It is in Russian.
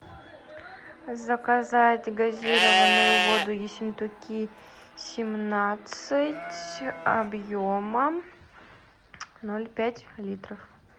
заказать газированную воду ессентуки семнадцать объемом ноль пять литров